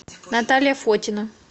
наталья фотина